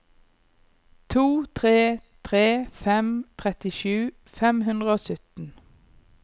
to tre tre fem trettisju fem hundre og sytten